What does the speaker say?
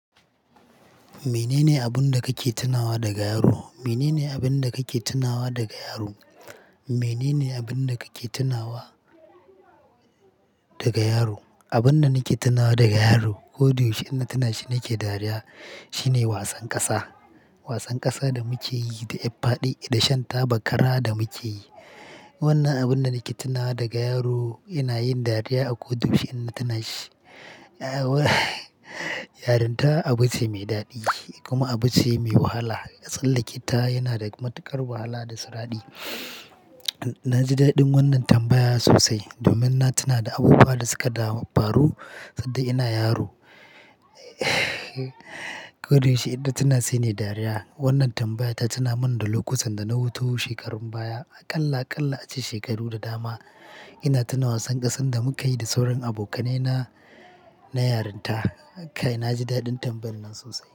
Menene abunda kake tunawa daga yaro? Menene abunda kake tunawa daga yaro? Menene abunda kake tunawa daga yaro? Abunda nake tunawa daga yaro, koda yaushe in na tunashi nake dariya, shine wasan ƙasa. Wasan ƙasa da muke yi da ƴar faɗe da shan taba kara da muke yi. Wannan abunda nake tunawa daga yaro ina yin dariya a koda yaushe in na tunashi. Yarinta abuce mai daɗi kuma abuce mai wahala. Sallake ta yanada matuƙar wahala da siradi. Naji daɗin wannan tambaya sosai domin na tuna da abubuwan da suka damu a faro sadda ina yaro. Koda yaushe in natuna sai nayi dariya. Wannan tambaya ta tuna mini da lokutan dana wuto shekarun baya a ƙalla a ƙalla a ce shekaru da dama ina tuna wasan ƙasan da muka yi da sauran abokaina na yarinta. Kai, naji daɗin tambayan nan sosai.